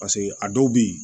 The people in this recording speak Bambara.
Paseke a dɔw bɛ yen